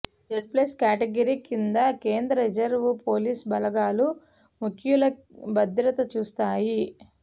Z plus category కింద కేంద్ర reserve police బలగాలు ముఖ్యుల భద్రత చూస్తాయి